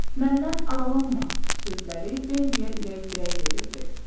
Məndən aralanma sözləri Bembiya ürək dirək verirdi.